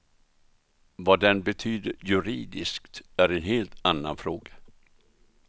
Vad den betyder juridiskt är en helt annan fråga.